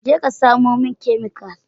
Je ka samo min chemical.